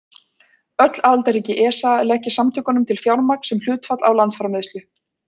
Öll aðildarríki ESA leggja samtökunum til fjármagn sem hlutfall af landsframleiðslu.